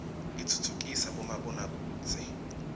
itfutfukida bomabona kudze